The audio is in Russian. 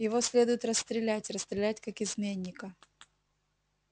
его следует расстрелять расстрелять как изменника